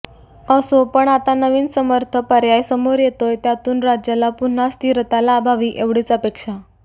असो पण आता नवीन समर्थ पर्याय समोर येतोय त्यातून राज्याला पुन्हा स्थिरता लाभावी एवढीच अपेक्षा